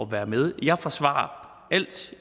være med jeg forsvarer alt